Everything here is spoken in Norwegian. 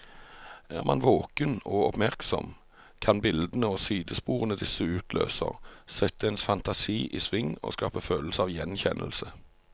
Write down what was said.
Er man våken og oppmerksom, kan bildene og sidesporene disse utløser, sette ens fantasi i sving og skape følelse av gjenkjennelse.